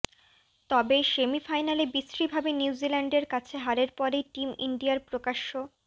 তবে সেমিফাইনালে বিশ্রীভাবে নিউজিল্যান্ডের কাছে হারের পরেই টিম ইন্ডিয়ার প্রকাশ্য